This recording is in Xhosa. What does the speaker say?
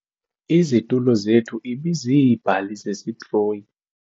Izitulo zethu ibiziibhali zesitroyi.